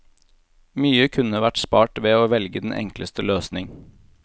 Mye kunne vært spart ved å velge den enkleste løsning.